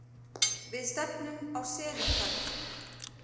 Við stefndum á selin þarna.